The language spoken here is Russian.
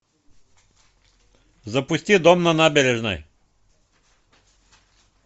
запусти дом на набережной